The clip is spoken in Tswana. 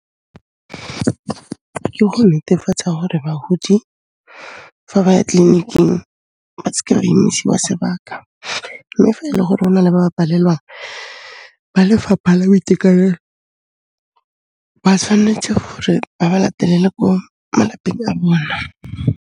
Ke go netefatsa hore bahodi fa ba ya tleliniking ba seke ba emisiwa sebaka, mme fa e le gore o na le ba palelwang, ba lefapha la boitekanelo ba tshwanetse gore ba ba latelele ko malapeng a bona.